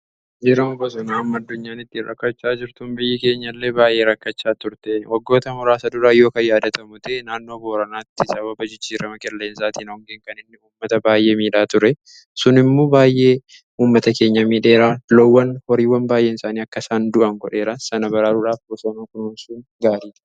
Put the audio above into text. Jijjirramni qilleensaa addunyaan itti rakkachaa jirtuun biyyi keenya illee baay'ee rakkachaa turte. Waggoota muraasa duraa yookaan yaadatamu ta'e naannoo booranaatti sababa jijjiirama qilleensaatiin hoongeen kan inni ummata baay'ee miidhaa ture sun immoo baay'ee ummata keenya miidheera loowwan horiiwwan baay'ee isaanii akka isaan du'an godheera. sana baraaruudhaaf bosana kunuunsuun gaariidha.